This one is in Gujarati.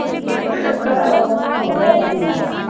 તારા contact માં વધારે હતી એ યાર